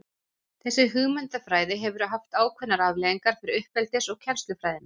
Þessi hugmyndafræði hefur haft ákveðnar afleiðingar fyrir uppeldis- og kennslufræðina.